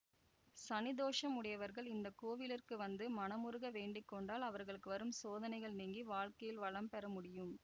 சனி தோசம் உடையவர்கள் இந்த கோவிலிற்கு வந்து மனமுருக வேண்டி கொண்டால் அவர்களுக்கு வரும் சோதனைகள் நீங்கி வாழ்க்கையில் வளம் பெற முடியும்